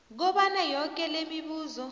kobana yoke lemibuzo